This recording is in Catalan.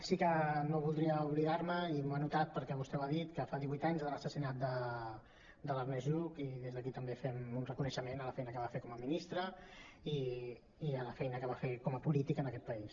sí que no voldria oblidar me i m’ho he anotat perquè vostè ho ha dit que fa divuit anys de l’assassinat de l’ernest lluch i des d’aquí també fem un reconeixement a la feina que va fer com a ministre i a la feina que va fer com a polític en aquest país